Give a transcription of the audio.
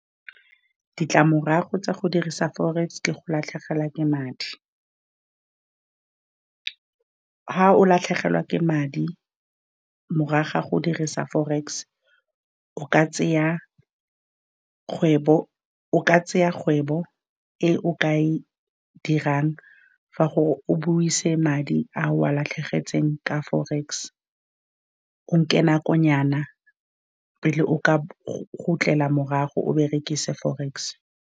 Ditlamorago tsa go dirisa forex ke go latlhegelwa ke madi. Fa o latlhegelwa ke madi morago ga go dirisa forex, o ka tšea kgwebo e o ka e dirang, fa gore o buise madi a o a latlhegetsweng ka forex. O nke nakonyana pele o ka kgutlela morago o berekise forex.